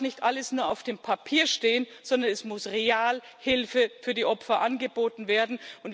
Es darf nicht alles nur auf dem Papier stehen, sondern es muss real Hilfe für die Opfer angeboten werden.